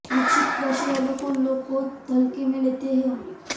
वृश्चिक राशिवालों को लोग बहुत हल्के में लेते हैं